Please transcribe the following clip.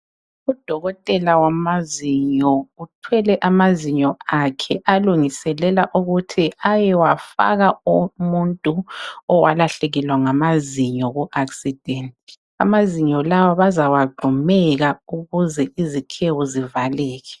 Udokotela wamazinyo uthwele amazinyo akhe alungiselela ukuthi ayewafaka umuntu owalahlekelwa ngamazinyo ku akisidenti. Amazinyo lawa bazawagxumeka ukuze izikhewu zivaleke.